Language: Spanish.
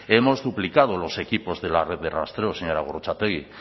hemos duplicado los equipos de la red de rastreo señora gorrotxategi